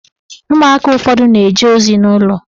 Ụmụaka ụfọdụ na-eje ozi n'ụlọ